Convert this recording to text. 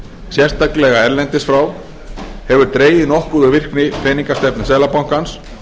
sérstaklega erlendis frá hefur dregið nokkuð úr virkni peningastefnu seðlabankans